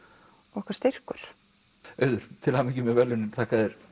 okkar styrkur auður til hamingju með verðlaunin þakka þér